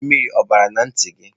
Mmiri o bara na nti gi?